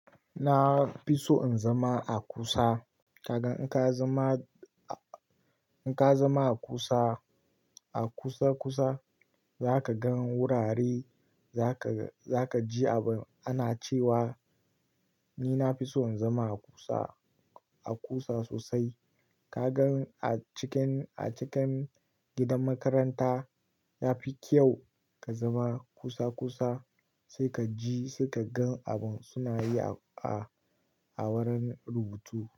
Na fi so in zama a kusa. Kaga in ka zama, in ka zama a kusa, a kusa kusa za ka gan wurare, za ka, za ka ji abin ana cewa. Ni na fi so in zama a kusa, a kusa sosai. Kaga a cikin, a cikin gidan makaranta ya fi kyau ka zama kusa kusa sai ka ji, sai ka gan abin suna yi a, a wurin rubutu.